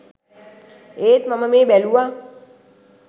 ඒත් මම මේ බැලුවා